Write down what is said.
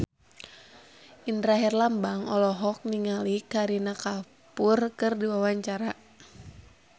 Indra Herlambang olohok ningali Kareena Kapoor keur diwawancara